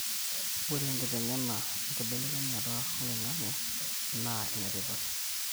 ore enkitengena enkibelekenyata oloingang'e naa ene tipat